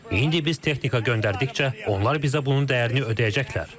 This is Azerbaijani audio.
İndi biz texnika göndərdikcə, onlar bizə bunun dəyərini ödəyəcəklər.